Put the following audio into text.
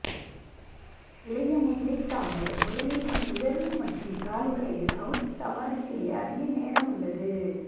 இளைய முதலீட்டாளர் முதலீட்டின் உயர்வு மற்றும் தாழ்வுகளை அவுட் சவாரி செய்ய அதிக நேரம் உள்ளது